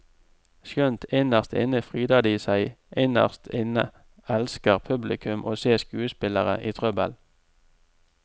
Skjønt innerst inne fryder de seg, innerst inne elsker publikum å se skuespillere i trøbbel.